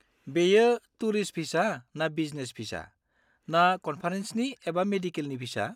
बेयो tourist visa ना business visa, ना कन्फारेन्सनि एबा मेडिकेलनि भिसा?